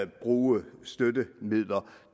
bruge støttemidler